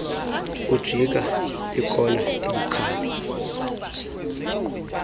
ujika ikona ebukhali